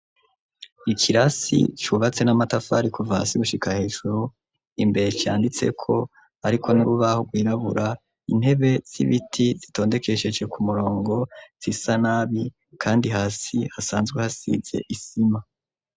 Ikirasi cubatse n'amatafari kuva hasi gushika hejuru imbere canditseko hariko n'urubaho rwirabura, intebe z'ibiti zitondekesheje ku murongo zisa nabi kandi hasi hasanzwe hasize isima.